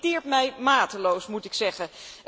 Dat irriteert mij mateloos, moet ik zeggen.